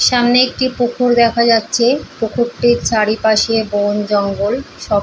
সামনে একটি পুকুর দেখা যাচ্ছে। পুকুরটির চারিপাশে বন জঙ্গল সব।